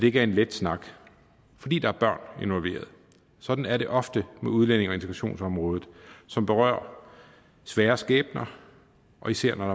ikke er en let snak fordi der er børn involveret sådan er det ofte på udlændinge og integrationsområdet som berører svære skæbner og især når